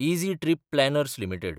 easy Trip Planners limited